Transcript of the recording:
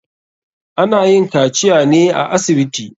Ana yin kaciya ne a asibiti.